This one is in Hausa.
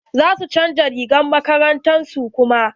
Za su chanza rigar makarantar su kuma.